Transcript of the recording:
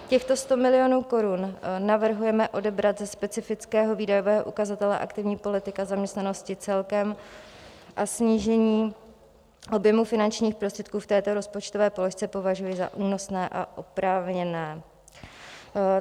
Těchto 100 milionů korun navrhujeme odebrat ze specifického výdajového ukazatele Aktivní politika zaměstnanosti celkem a snížení objemu finančních prostředků v této rozpočtové položce považuji za únosné a oprávněné.